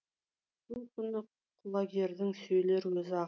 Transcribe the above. сол күні құлагердің сөйлер өзі ақ